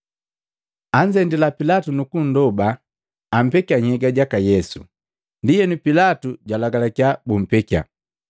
Anzendila Pilatu nukuloba ampekia nhyega jaka Yesu. Ndienu Pilatu jwalagalakia bumpekya.